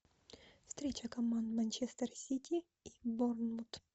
встреча команд манчестер сити и борнмут